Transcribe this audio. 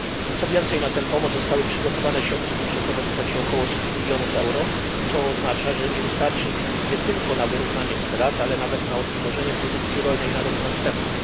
Co więcej, na tę pomoc zostały przygotowane środki budżetowe w kwocie około stu milionów euro, co oznacza, że nie wystarczy ich nie tylko na wyrównanie strat, ale nawet na odtworzenie produkcji rolnej na rok następny.